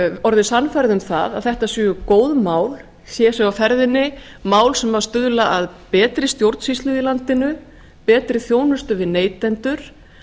orðið sannfærð um það að þetta séu góð mál hér séu á ferðinni mál sem stuðla að betri stjórnsýslu í landinu betri þjónustu við neytendur